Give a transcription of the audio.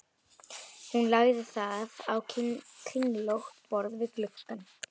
Hún lagði það á kringlótt borð við gluggann.